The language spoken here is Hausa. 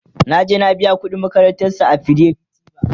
naje na biya ƙuɗin makarantan su a fidelity bank